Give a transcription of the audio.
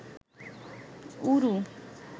ঊরু